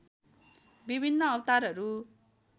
विभिन्न अवतारहरू